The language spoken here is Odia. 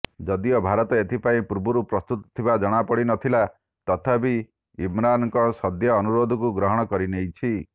ଯଦିଓ ଭାରତ ଏଥିପାଇଁ ପୂର୍ବରୁ ପ୍ରସ୍ତୁତ ଥିବା ଜଣାପଡ଼ିନଥିଲା ତଥାପି ଇମ୍ରାନ୍ଙ୍କ ସଦ୍ୟ ଅନୁରୋଧକୁ ଗ୍ରହଣ କରିନେଇଛି